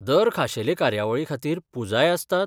दर खाशेले कार्यावळीखातीर, पुजाय आसतात?